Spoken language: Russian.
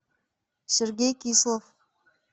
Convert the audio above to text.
сергей кислов